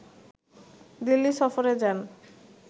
দিল্লি সফরে যান